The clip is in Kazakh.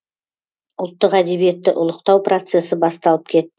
ұлттық әдебиетті ұлықтау процесі басталып